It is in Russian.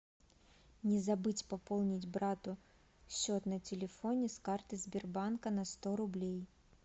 не забыть пополнить брату счет на телефоне с карты сбербанка на сто рублей